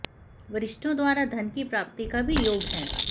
वरिष्ठों द्वारा धन की प्राप्ति का भी योग है